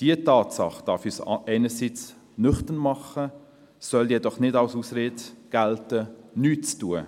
Diese Tatsache darf uns einerseits nüchtern machen, sie soll jedoch nicht als Ausrede dafür dienen, nichts zu tun.